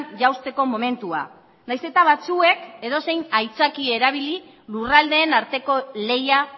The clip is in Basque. jausteko momentua nahiz eta batzuek edozein aitzakia erabili lurraldeen arteko lehia